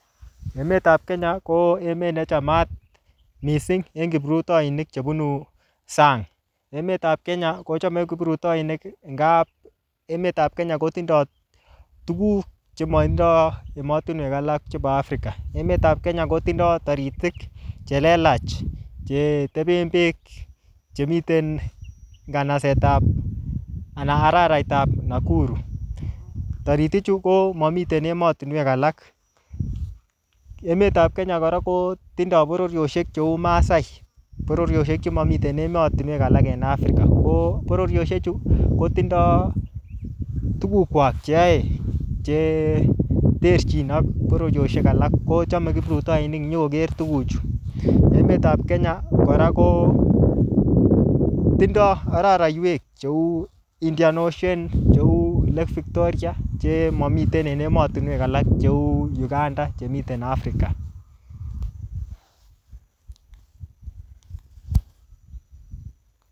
Emetab Kenya ko emet ne chamat mising en kiprutoinik chebunu sang. Emetab Kenya ko chome kiprutoinik ngab emetab kenya kotindo tuguk chematindo ematinuek alak chebo Afrika. Emetab Kenya kotindo taritik che lelach che teben beek chemiten nganasetab ana araraitab Nakuru. Tariti chu komamiten ematinuek alak. Emetab Kenya kora kotindo bororieosiek cheu maasai. Bororiosiek chemamiten ematinwek alak en Afrika. Ko bororiosiechu kotindo tugukwak cheyoe che terchin ak bororiosiek alak. Kochome kiprutoinik nyokoger tuguchu. Emetab Kenya kora ko tindo araraiywek cheu Indian ocean, cheu Lake Victoria che mamiten en ematinuek alak cheu Uganda che miten Afrika.